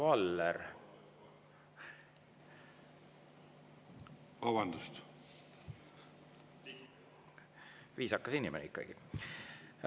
Viisakas inimene ikkagi.